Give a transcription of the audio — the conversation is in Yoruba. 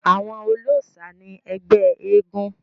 àwọn olóòsà ni ẹgbẹ́ eégún